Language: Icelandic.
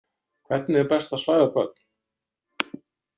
Hvernig er best að svæfa börn?